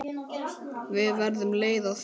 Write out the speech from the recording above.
Við verðum leið á því.